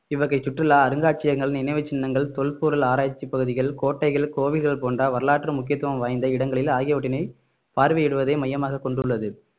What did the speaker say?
இவ்வகை சுற்றுலா அருங்காட்சியங்கள் நினைவுச் சின்னங்கள் தொல்பொருள் ஆராய்ச்சி பகுதிகள் கோட்டைகள் கோவில்கள் போன்ற வரலாற்று முக்கியத்துவம் வாய்ந்த இடங்களில் ஆகியவற்றினை பார்வையிடுவதை மையமாக கொண்டுள்ளது